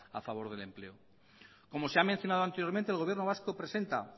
a favor del empleo como se ha mencionado anteriormente el gobierno vasco presenta